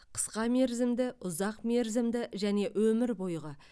қысқамерзімді ұзақмерзімді және өмір бойғы